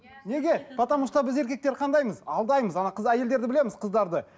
неге потому что біз еркектер қандаймыз алдаймыз ана қыз әйелдерді білеміз қыздарды